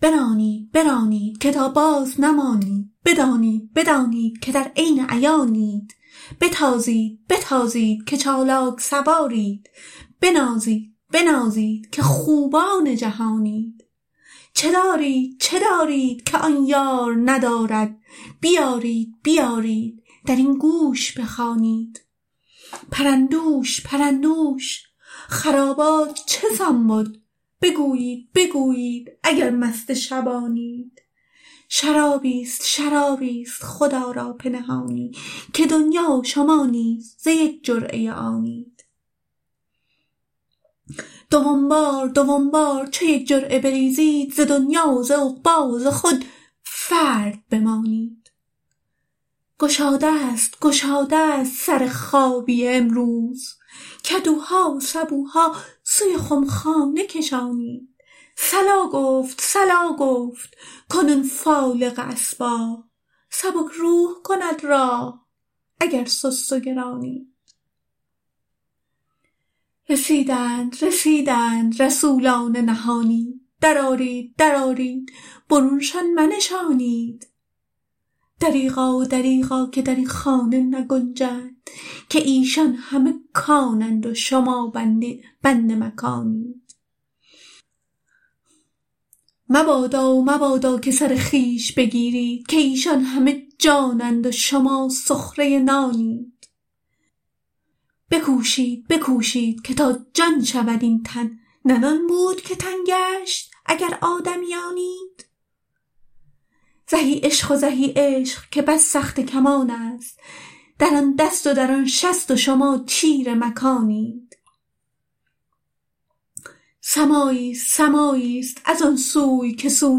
برانید برانید که تا بازنمانید بدانید بدانید که در عین عیانید بتازید بتازید که چالاک سوارید بنازید بنازید که خوبان جهانید چه دارید چه دارید که آن یار ندارد بیارید بیارید در این گوش بخوانید پرندوش پرندوش خرابات چه سان بد بگویید بگویید اگر مست شبانید شرابیست شرابیست خدا را پنهانی که دنیا و شما نیز ز یک جرعه آنید دوم بار دوم بار چو یک جرعه بریزد ز دنیا و ز عقبی و ز خود فرد بمانید گشادست گشادست سر خابیه امروز کدوها و سبوها سوی خمخانه کشانید صلا گفت صلا گفت کنون فالق اصباح سبک روح کند راح اگر سست و گرانید رسیدند رسیدند رسولان نهانی درآرید درآرید برونشان منشانید دریغا و دریغا که در این خانه نگنجند که ایشان همه کانند و شما بند مکانید مبادا و مبادا که سر خویش بگیرید که ایشان همه جانند و شما سخره نانید بکوشید بکوشید که تا جان شود این تن نه نان بود که تن گشت اگر آدمیانید زهی عشق و زهی عشق که بس سخته کمانست در آن دست و در آن شست و شما تیر مکانید سماعیست سماعیست از آن سوی که سو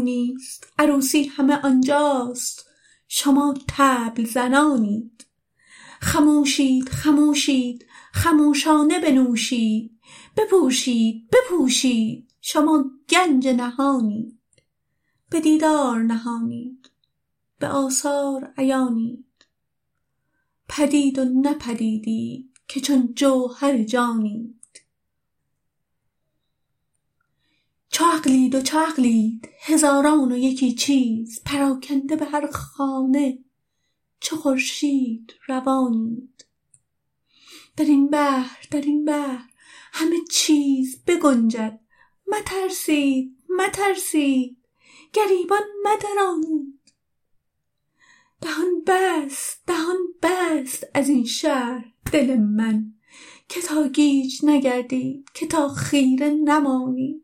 نیست عروسی همه آن جاست شما طبل زنانید خموشید خموشید خموشانه بنوشید بپوشید بپوشید شما گنج نهانید به دیدار نهانید به آثار عیانید پدید و نه پدیدیت که چون جوهر جانید چو عقلید و چو عقلید هزاران و یکی چیز پراکنده به هر خانه چو خورشید روانید در این بحر در این بحر همه چیز بگنجد مترسید مترسید گریبان مدرانید دهان بست دهان بست از این شرح دل من که تا گیج نگردید که تا خیره نمانید